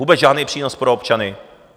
Vůbec žádný přínos pro občany.